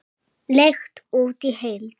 Leigt út í heild?